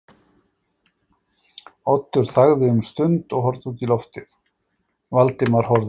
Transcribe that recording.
Oddur þagði um stund og horfði út í lofið, Valdimar horfði á hann.